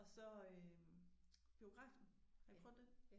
Og så øh biografen har I prøvet den?